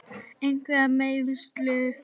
Einhver meiðsli?